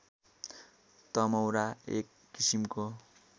तमौरा एक किसिमको